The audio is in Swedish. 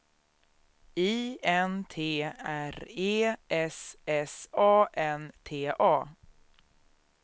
I N T R E S S A N T A